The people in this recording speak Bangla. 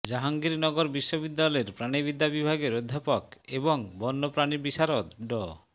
জাহাঙ্গীরনগর বিশ্ববিদ্যালয়ের প্রাণিবিদ্যা বিভাগের অধ্যাপক এবং বণ্যপ্রাণী বিশারদ ড